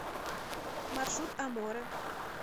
маршрут аморе